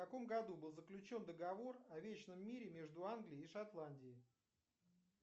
в каком году был заключен договор о вечном мире между англией и шотландией